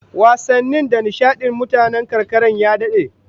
Wasanni da nishadin mutanen karkara ya dade